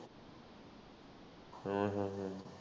ਹੂੰ ਹੂੰ ਹੂੰ।